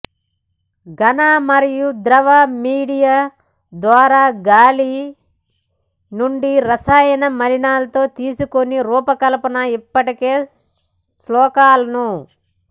ఘన మరియు ద్రవ మీడియా ద్వారా గాలి నుండి రసాయన మలినాలతో తీసుకుని రూపకల్పన ఇప్పటికే శోషకాలను